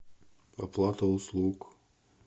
оплата услуг